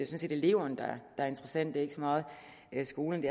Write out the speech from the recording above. set eleverne der er interessante ikke så meget skolerne